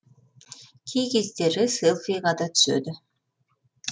кей кездері селфиға да түседі